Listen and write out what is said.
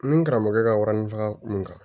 Ni n karamɔgɔ ka warini faga mun kan